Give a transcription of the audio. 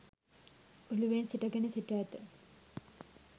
ඔලුවෙන් සිටගෙන සිට ඇත.